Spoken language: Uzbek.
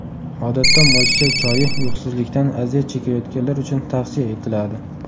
Odatda moychechak choyi uyqusizlikdan aziyat chekayotganlar uchun tavsiya etiladi.